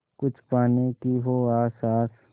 कुछ पाने की हो आस आस